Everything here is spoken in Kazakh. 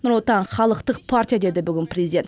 нұр отан халықтық партия деді бүгін президент